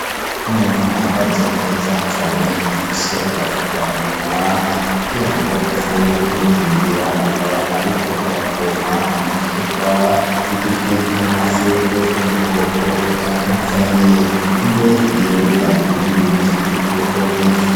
Umuntu Ahagaze Neza Cane Afise Agafuka Munwa, Kugirango Ashobore Kwikingira Akaba Ariko Arapompa Ibiterwa, Bigizwe N'Amashurwe Yo Mu Bwoko Butandukanye. Imbere Yiwe Hari Ibindi Biti Vy'Ubwoko Bwinshi.